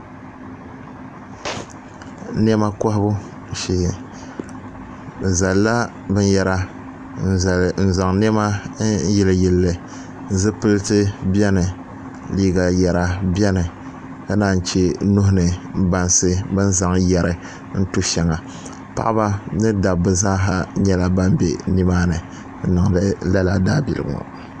Niema kɔhi bu shee. Bɛ zalla binyera n zaŋ niema n yili yilli. Zipilti bɛni, liiga yera bɛni ka naan yi che nuhi ni bansi bɛ ni zaŋ yeri n tu sheŋa. Paɣ'ba ni dabba zaa sa nyela ban be nimaani n niŋ di lala daabilgu ŋo.